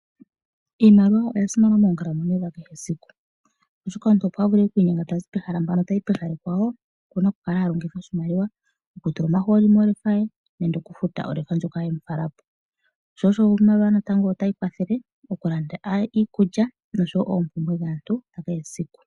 Iimaliwa oya simana moonkalamwenyo dhakehe esiku. Oshoka omuntu opo a vule oku inyenga ta zi pehala mpano tayi kehala ekwawo okuna oku kala a longitha oshimaliwa opo a vule okutula omahooli mohauto ye nenge okufuta olefa. Iimaliwa otayi kwathele mokulanda iikulya osho wo oompumbwe dhaantu kehe esiku.